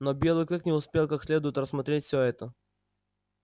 но белый клык не успел как следует рассмотреть всё это